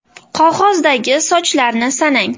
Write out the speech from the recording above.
Qog‘ozdagi sochlarni sanang.